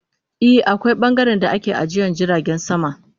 I, akwai bangaren da ake ajiye jiragen sama.